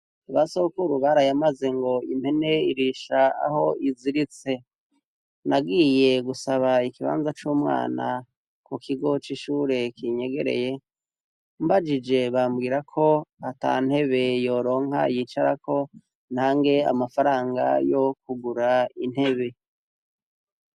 Ba sokaurubarayamaze ngo impene irisha aho iziritse nagiye gusaba ikibanza c'umwana ku kigo c'ishure kinyegereye mbajije bambwira ko ata ntebe yoronka yicarako ntange amafaranga yo kugura intebe a.